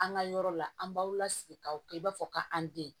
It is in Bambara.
An ka yɔrɔ la an b'aw lasigi k'aw kɛ i b'a fɔ ka an den